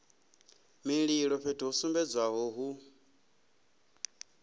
mililo fhethu ho sumbedzwaho hu